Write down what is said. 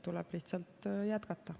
Tuleb lihtsalt jätkata.